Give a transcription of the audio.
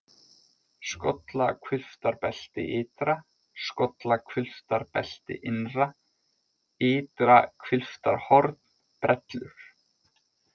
Skollahvilftarbelti ytra, Skollahvilftarbelti innra, Ytra-Hvilftarhorn, Brellur